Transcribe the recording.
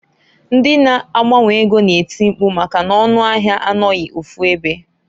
Ndi na -agbanwe ego na-eti mpku maka n'ọnụ ahịa anọghị ofu ebe.